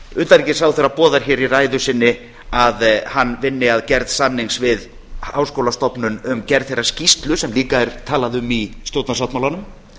utanríkisráðherra boðar hér í ræðu sinni að hann vinni að gerð samnings við háskólastofnun um gerð þeirrar skýrslu sem líka er talað um í stjórnarsáttmálanum